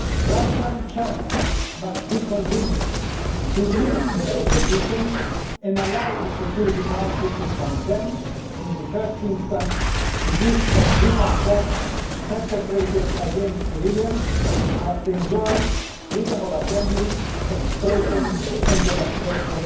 Russia and China must be convinced to lift their opposition and allow the Security Council to condemn in the first instance the use of lethal force perpetrated against civilians, who must enjoy freedom of assembly, expression and peaceful demonstration.